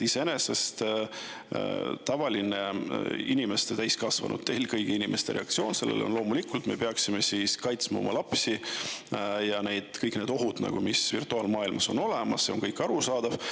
Iseenesest inimeste, eelkõige täiskasvanud inimeste tavaline reaktsioon sellele on see, et loomulikult me peaksime kaitsma oma lapsi, ja need ohud, mis virtuaalmaailmas on olemas, on kõik arusaadavad.